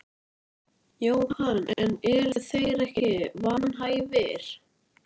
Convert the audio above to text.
Jóhann: En eru þeir ekki vanhæfir?